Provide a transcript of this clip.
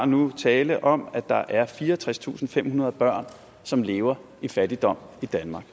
nu tale om at der er fireogtredstusinde og femhundrede børn som lever i fattigdom i danmark